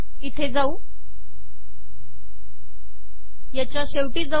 इते जाऊ शेवटी जाऊ